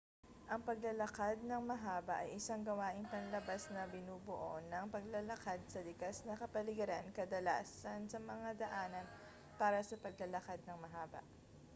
ang paglalakad nang mahaba ay isang gawaing panlabas na binubuo ng paglalakad sa likas na kapaligiran kadalasan sa mga daanan para sa paglalakad nang mahaba